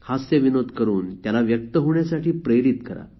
हास्यविनोद करून त्याला व्यक्त होण्यासाठी प्रेरित करा